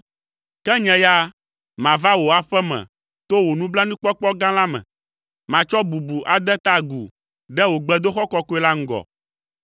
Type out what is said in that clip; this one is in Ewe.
Ke nye ya, mava wò aƒe me to wò nublanuikpɔkpɔ gã la me. Matsɔ bubu ade ta agu ɖe wò gbedoxɔ kɔkɔe la ŋgɔ.